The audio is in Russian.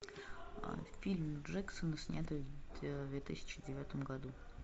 фильм джексона снятый в две тысячи девятом году